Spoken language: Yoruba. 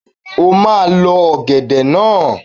O máa Lọ ọ̀gẹ̀dẹ̀ naa